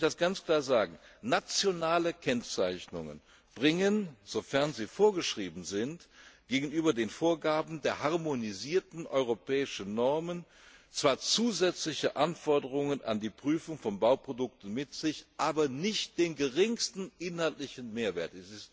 Lassen Sie mich das ganz klar sagen Nationale Kennzeichnungen bringen, sofern sie vorgeschrieben sind, gegenüber den Vorgaben der harmonisierten europäischen Normen zwar zusätzliche Anforderungen an die Prüfung von Bauprodukten mit sich, aber nicht den geringsten inhaltlichen Mehrwert.